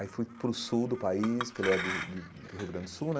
Aí fui para o sul do país, porque ele é do do do Rio Grande do Sul, né?